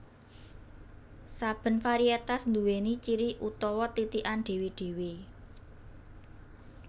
Saben variétas nduwéni ciri utawa titikan dhéwé dhéwé